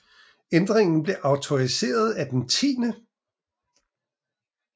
Ændringen blev autoriseret af den 10